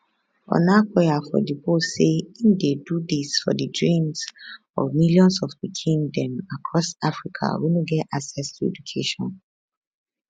onakoya for di post say im dey do dis for di dreams of millions of pikin dem across africa wey no get access to education